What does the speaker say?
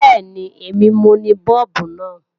Bẹ́ẹ̀ni, èmi mo ni Bọ́ọ̀bù náà.